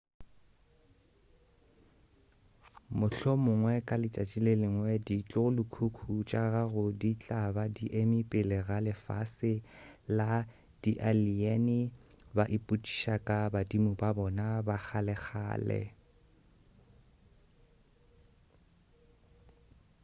mohlomongwe ka letšatši le lengwe ditlogolokhukhu tša gago di tla ba di eme pele ga lefase la di-alien ba ipotšiša ka badimo ba bona ba kgalekgale